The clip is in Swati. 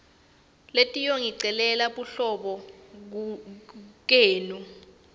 letiyongicelela buhlobo kenu